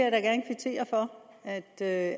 da